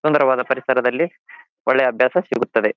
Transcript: ಸುಂದರವಾದ ಪರಿಸರದಲ್ಲಿ ಒಳ್ಳೆಯ ಅಭ್ಯಾಸ ಸಿಗುತ್ತದೆ.